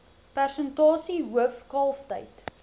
persentasie hoof kalftyd